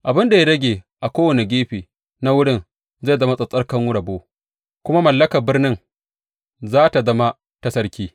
Abin da ya rage a kowane gefe na wurin zai zama tsattsarkan rabo kuma mallakar birnin za tă zama ta sarki.